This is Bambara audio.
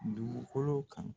Dugukolo kan